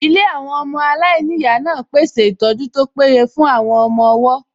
Ilé àwọn ọmọ aláìníyàá náà pèsè ìtọ́jú tó péye fún àwọn ọmọ-ọwọ́